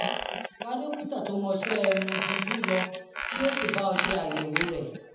wá dókítà tó mọṣẹ́ ẹnu dunjú lọ kí ó sì bá ọ ṣe àyẹ̀wò rẹ̀